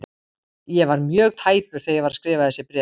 Ég var mjög tæpur þegar ég var að skrifa þessi bréf.